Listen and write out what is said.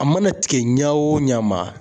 A mana tigɛ ɲa o ɲa ma